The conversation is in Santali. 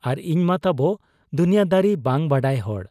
ᱟᱨ ᱤᱧᱢᱟ ᱛᱟᱵᱚ ᱫᱩᱱᱤᱭᱟᱺᱫᱟᱨᱤ ᱵᱟᱝ ᱵᱟᱰᱟᱭ ᱦᱚᱲ ᱾